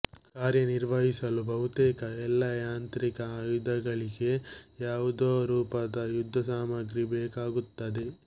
ಕಾರ್ಯನಿರ್ವಹಿಸಲು ಬಹುತೇಕ ಎಲ್ಲ ಯಾಂತ್ರಿಕ ಆಯುಧಗಳಿಗೆ ಯಾವುದೋ ರೂಪದ ಯುದ್ಧಸಾಮಗ್ರಿ ಬೇಕಾಗುತ್ತದೆ